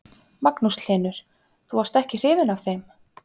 Magnús Hlynur: Þú varst ekki hrifin af þeim?